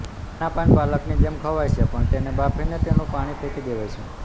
આના પાન પાલક જેમ ખવાય છે પણ તેને બાફીને તેનું પાણી ફેંકી દેવાય છે